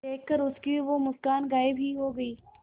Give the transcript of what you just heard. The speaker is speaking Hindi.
देखकर उसकी वो मुस्कान गायब ही हो गयी